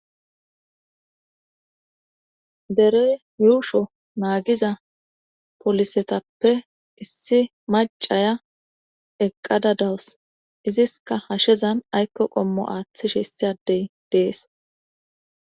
Derey yuushsho naagiza polisetappe issi macaya eqqada dawus iziska hashezan aykko qommo aaththishe issi adey dees